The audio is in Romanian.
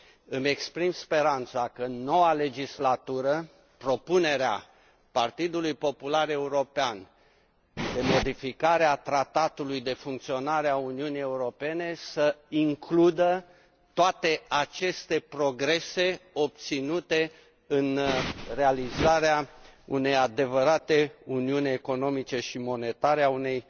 Îmi exprim speranța că noua legislatură, propunerea Partidului Popular European de modificare a Tratatului de funcționare a Uniunii Europene să includă toate aceste progrese obținute în realizarea unei adevărate Uniuni economice și monetare a unei